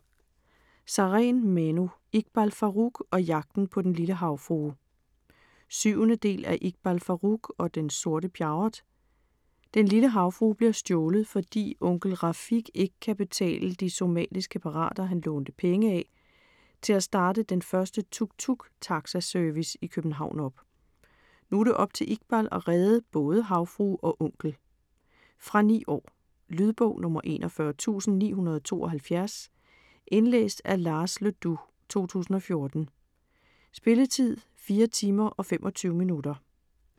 Sareen, Manu: Iqbal Farooq og jagten på den lille havfrue 7. del af Iqbal Farooq og den sorte Pjerrot. Den lille havfrue bliver stjålet, fordi onkel Rafig ikke kan betale de somaliske pirater han lånte penge af - til at starte den første tuk-tuk taxi-service i København op. Nu er det op til Iqbal at redde både havfrue og onkel. Fra 9 år. Lydbog 41972 Indlæst af Lars Le Dous, 2014. Spilletid: 4 timer, 25 minutter.